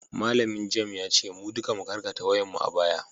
malamin gem ya ce mu duka mu karkata wuyanmu a baya